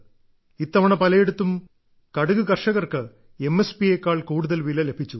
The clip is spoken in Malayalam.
ഇത്തവണ പലയിടത്തും കടുക് കർഷകർക്ക് എം എസ് പിയെക്കാൾ കൂടുതൽ വില ലഭിച്ചു